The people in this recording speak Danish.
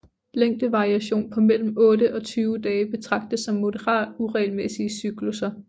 Længdevariation på mellem otte og 20 dage betragtes som moderat uregelmæssige cyklusser